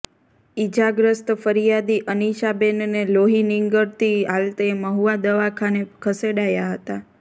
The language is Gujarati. ઈજાગ્રસ્ત ફરિયાદી અનીશાબેનને લોહી નીંગળતી હાલતે મહુવા દવાખાને ખસેડાયા હતા